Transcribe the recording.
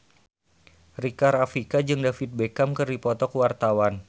Rika Rafika jeung David Beckham keur dipoto ku wartawan